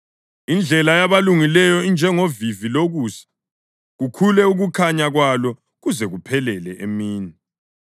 Indlela yabalungileyo injengovivi lokusa, kukhule ukukhanya kwalo kuze kuphelele emini.